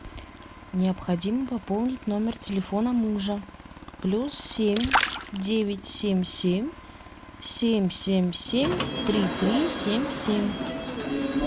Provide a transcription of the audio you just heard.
необходимо пополнить номер телефона мужа плюс семь девять семь семь семь семь семь три три семь семь